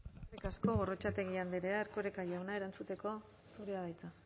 eskerrik asko gorrotxategi andrea erkoreka jauna erantzuteko zurea da hitza